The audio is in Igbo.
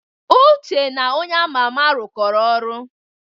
Uche na onye ama ama rụkoro ọrụ.